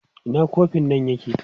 Ina kofin nan yake?